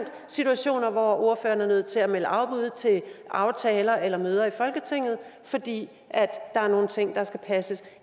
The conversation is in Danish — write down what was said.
situationer hvor ordføreren er nødt til at melde afbud til aftaler eller møder i folketinget fordi der er nogle ting der skal passes